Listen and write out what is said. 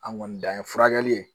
An kɔni dan ye furakɛli ye